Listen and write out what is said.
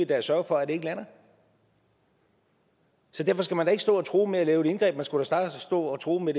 da sørge for at det ikke lander så derfor skal man da ikke stå og true med at lave et indgreb man skulle snarere stå og true med